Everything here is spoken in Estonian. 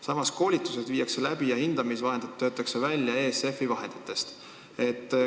Samas, koolitused viiakse läbi ja hindamisvahendid töötatakse välja ESF-i vahendeid kasutades.